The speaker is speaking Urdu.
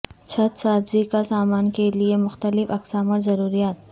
چھت سازی کا سامان کے لئے مختلف اقسام اور ضروریات